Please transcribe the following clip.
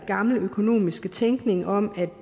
gamle økonomiske tænkning om at